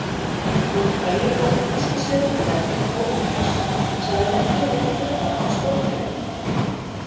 Hinn frægi forn-gríski stjörnufræðingur Ptólmæos sagði merkið vera hluta af Sporðdrekanum.